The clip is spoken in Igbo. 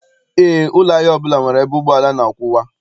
Eé, ụlọ ahịa ọbụla nwere ebe ụgbọala na-akwụwa.